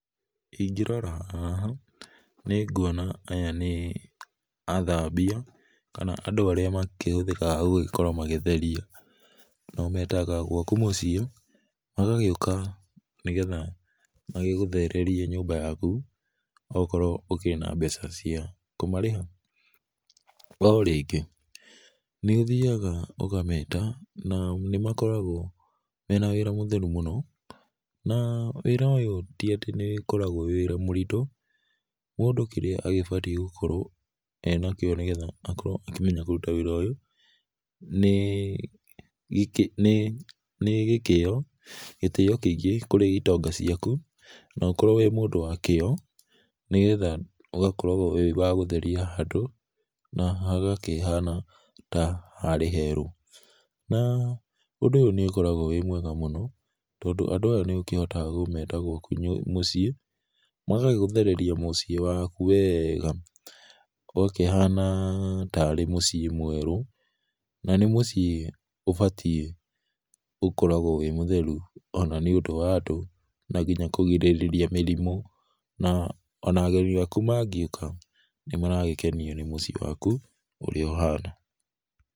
Ingĩrora haha, nĩnguona aya nĩ athambia kana andũ arĩa makĩhũthĩkaga gũgĩkorwo magĩtheria. Na ũmetaga gwaku mũciĩ magagĩũka, nĩgetha magĩgũthererie nyũmba yaku okorwo ũkĩrĩ na mbeca cia kũmarĩha. O rĩngĩ, nĩũthiga ũkameta na nĩmakoragwo mena wĩra mũtheru mũno, na wĩra ũyũ ti atĩ nĩũkoragwo wĩ wĩra mũritũ, mũndũ kĩrĩa agĩbatiĩ gũkorwo enakĩo nĩgetha akorwo akĩmenya kũruta wĩra ũyũ, nĩĩ nĩ nĩ gĩkĩo, gĩtĩyo kĩingĩ kũrĩ itonga ciaku, na ũkorwo wĩ mũndũ wa kĩyo, nĩgetha ũgakoragwo wĩ wa gũtheria handũ na hagakĩhana ta harĩ herũ. Na ũndũ ũyũ nĩũgũkoragwo wĩ mwega mũno, tondũ andũ aya nĩũkĩkĩhotaga kũmeta gwaku mũciĩ, magagĩgũthereria mũciĩ waku wega, na ũgakĩhana tarĩ mũciĩ mwerũ, na nĩ mũciĩ ũbatiĩ gũkoragwo wĩ mũtheru ona, nĩũndũ wa andũ na kinya kũgirĩrĩria mĩrimũ, na ona ageni aku mangĩũka nĩmaragĩkenio nĩ mũciĩ waku ũrĩa ũhana.